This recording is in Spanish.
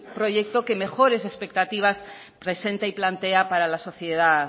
proyecto que mejores expectativas presenta y plantea para la sociedad